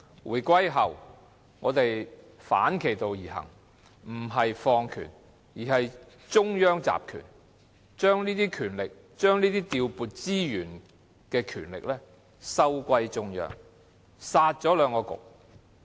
回歸後，政府反其道而行，不是放權而是中央集權，把調撥資源的權力收歸中央，"殺"了兩局。